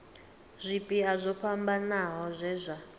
zwipia zwo fhambanaho zwe zwa